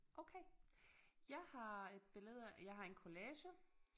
Okay jeg har et billede jeg har en collage